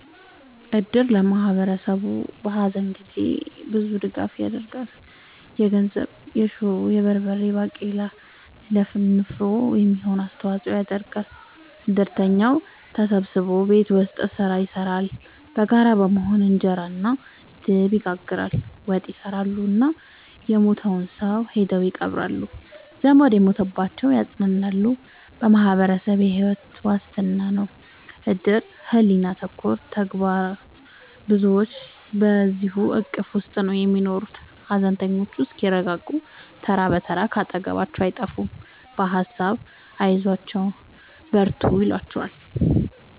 እድር ለማህበረሰቡ በሀዘን ጊዜ ብዙ ድጋፍ ይደረጋል። የገንዘብ፣ የሹሮ፣ የበርበሬ ባቄላ ለንፍሮ የሚሆን አስተዋጽኦ ያደርጋሉ። እድርተኛው ተሰብስቦ ቤት ውስጥ ስራ ይሰራሉ በጋራ በመሆን እንጀራ እና ድብ ይጋግራሉ፣ ወጥ ይሰራሉ እና የሞተውን ሰው ሄደው ይቀብራሉ። ዘመድ የሞተባቸውን ያፅናናሉ በማህበረሰቡ የሕይወት ዋስትና ነው እድር ሕሊና ተኮር ተግባር ብዙዎች በዚሕ እቅፍ ውስጥ ነው የሚኖሩት ሀዘነተኞቹ እስከሚረጋጉ ተራ ብትር ካጠገባቸው አይጠፍም በሀሳብ አይዟችሁ በርቱ ይሏቸዋል።